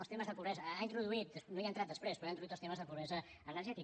els temes de pobresa ha introduït no hi ha entrat després però ha introduït els temes de pobresa energètica